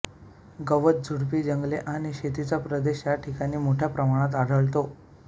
गवत झुडपी जंगले आणि शेतीचा प्रदेश या ठिकाणी मोठ्या प्रमाणात आढळतो